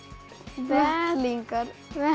vettlingar